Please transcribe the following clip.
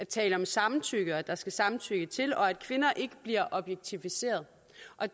taler om samtykke og at der skal samtykke til og at kvinder ikke bliver objektiviseret